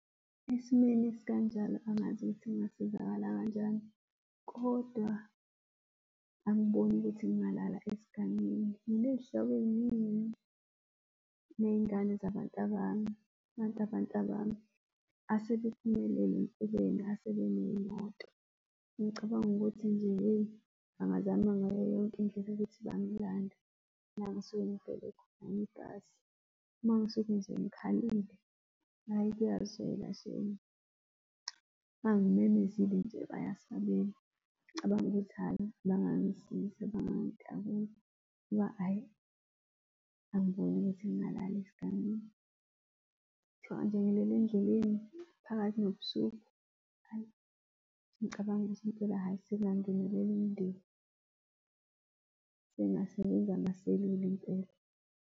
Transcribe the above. Esimweni esikanjalo, angazi ukuthi ngingasizakala kanjani, kodwa angiboni ukuthi ngingalala esigangeni. Nginey'hlobo ey'ningi, ney'ngane zabantabami abantabami asebephumelele empilweni asebeney'moto. Ngicabanga ukuthi nje hheyi, bangazama ngayo yonke indlela ukuthi bang'landa la engisuke ngifelwe khona ibhasi, uma ngisuke nje ngikhalile, hhayi kuyazwela shame. Uma ngimemezile nje bayasabela. Ngicabanga ukuthi hhayi bangangisiza bangangitakula ngoba hhayi, angiboni ukuthi ngingalala esigangeni. Kuthiwa nje endleleni phakathi nobusuku? Hhayi ngicabanga ukuthi impela, hhayi sekungangenelela umndeni, sekungsebenza amaselula impela.